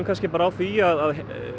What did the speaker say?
bara á því að